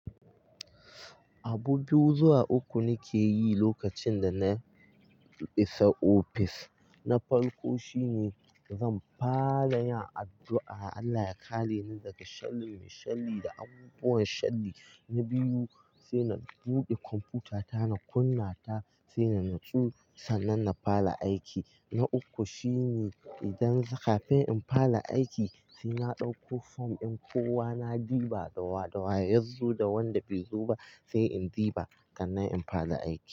Abu biyu zuwa uku nake yi lokacin da na isa ofis. Abu biyu zuwa uku nake yi lokacin da na isa ofis. Na biyu sai na buɗe kwamfutata, na kunna ta sai na natsu sannan na fara aiki. Na uku shine idan kafin in fara aiki sai na ɗauko fom, din kowa na ɗuba da wai da wai, yazo da wanda bai zo ba sai in ɗuba sannan in fara aiki.